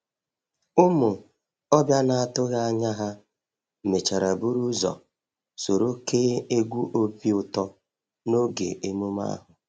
Ụmụ ọbịa na-atụghị anya ha mechara buru ụzọ soro kee egwu obi ụtọ n’oge emume ahụ.